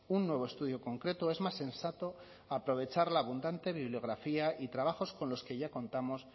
un nuevo estudio concreto es más sensato aprovechar la abundante bibliografía y trabajos con los que ya contamos